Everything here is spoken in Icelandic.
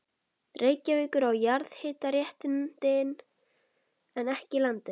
Reykjavíkur á jarðhitaréttindin, en ekki landið.